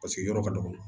Paseke yɔrɔ ka dɔgɔ